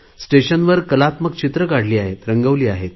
स्टेशनवर कलात्मक चित्रे काढली आहेत रंगवली आहेत